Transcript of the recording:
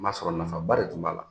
N m'a sɔrɔ nafa ba de tun b'a la.